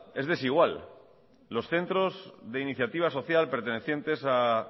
es desigual los centros de iniciativa social pertenecientes a